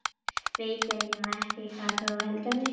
Veit eiginlega ekki hvað þú heldur um mig.